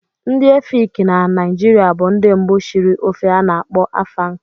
Ndị Efik na Naịjirịa bụ ndị mbụ shiri ofe ana-akpo Afang.